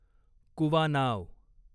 कुवानाव